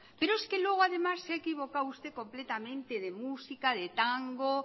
pero es que luego además se ha equivocado usted completamente de música de tango